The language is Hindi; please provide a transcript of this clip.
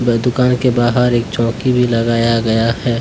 दुकान के बाहर एक चौकी भी लगाया गया है।